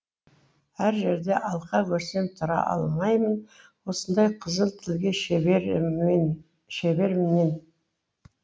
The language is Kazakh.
әр жерде алқа көрсем тұра алмаймын осындай қызыл тілге шеберімнен